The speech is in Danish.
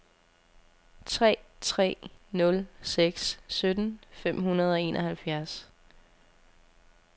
tre tre nul seks sytten fem hundrede og enoghalvfjerds